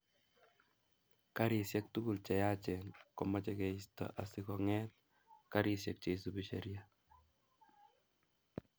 Garisiek tugul che yachen komoche keisto asi konget garisiek che isubi sheria